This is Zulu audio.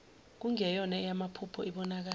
kungeyona eyamaphupho ibonakala